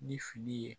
Ni fili ye